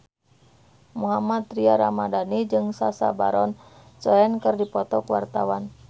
Mohammad Tria Ramadhani jeung Sacha Baron Cohen keur dipoto ku wartawan